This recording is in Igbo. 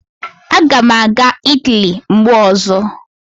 Aga m aga Italy mgbe ọzọ